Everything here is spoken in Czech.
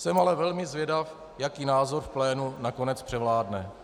Jsem ale velmi zvědav, jaký názor v plénu nakonec převládne.